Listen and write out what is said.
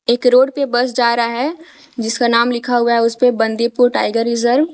एक रोड पे बस जा रहा है जिसका नाम लिखा हुआ है उसे पे बंदीपुर टाइगर रिजर्व ।